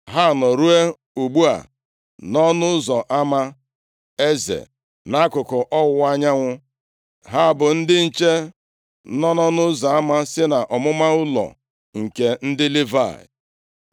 Ha nọ ruo ugbu a nʼọnụ ụzọ ama Eze, nʼakụkụ ọwụwa anyanwụ. Ha bụ ndị nche ọnụ ụzọ ama si nʼọmụma ụlọ nke ndị Livayị.